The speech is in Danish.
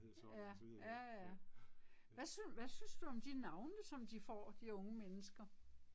Ja, ja ja. Hvad hvad synes du om de navne som de får, de unge mennesker?